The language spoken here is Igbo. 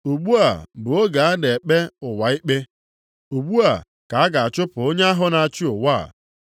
Ugbu a bụ oge a ga-ekpe ụwa a ikpe. Ugbu a ka a ga-achụpụ onye ahụ na-achị ụwa a.